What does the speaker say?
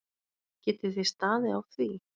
Geti þið staðið á því?